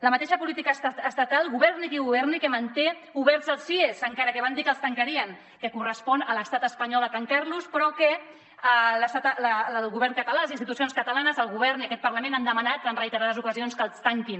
la mateixa política estatal governi qui governi que manté oberts els cies encara que van dir que els tancarien que correspon a l’estat espanyol de tancar los però que el govern català les institucions catalanes el govern i aquest parlament han demanat en reiterades ocasions que els tanquin